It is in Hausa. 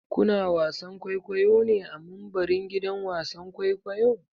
Ku na wasan kwaikwayo ne a mumbarin gidan wasan kwaikwayo?